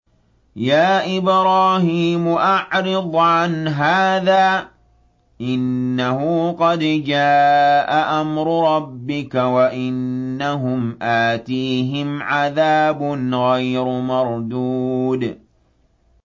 يَا إِبْرَاهِيمُ أَعْرِضْ عَنْ هَٰذَا ۖ إِنَّهُ قَدْ جَاءَ أَمْرُ رَبِّكَ ۖ وَإِنَّهُمْ آتِيهِمْ عَذَابٌ غَيْرُ مَرْدُودٍ